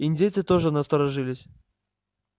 индейцы тоже насторожились